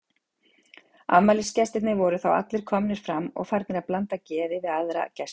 Afmælisgestirnir voru þá allir komnir fram og farnir að blanda geði við aðra gesti.